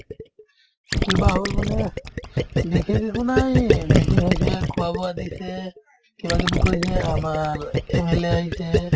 কিবা হ'ল মানে বিশেষ একো নাই এহ্ meeting হৈছে খোৱা-বোৱা দিছে কিবাকিবি কৈছে আমাৰ MLA আহিছে